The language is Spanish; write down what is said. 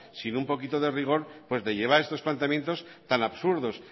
sin un poquito de rigor pues le lleva a estos planteamientos tan absurdos